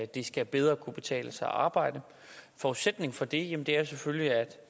det skal bedre kunne betale sig at arbejde forudsætningen for det er selvfølgelig at